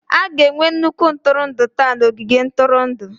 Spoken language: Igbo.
A ga-enwe nnukwu ntụrụndụ taa na ogige ntụrụndụ.